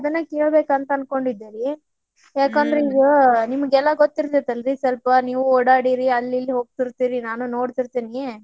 ಅದನ್ನ ಕೇಳ್ಬೇಕ ಅನ್ಕೊಂಡಿದ್ದೆ ರೀ ಯಾಕಂದ್ರ ಈಗ ನಿಮ್ಗೆಲ್ಲಾ ಗೊತ್ತಿರತ್ತೈತಲ್ರಿ ಸ್ವಲ್ಪ ನೀವು ಓಡ್ಯಾಡಿರಿ ಅಲ್ಲೇ ಇಲ್ಲೇ ಹೋಗ್ತಿರ್ತೀರಿ ನಾನು ನೋಡ್ತಿರ್ತೇನ್ರಿ.